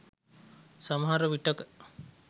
සමහර විටක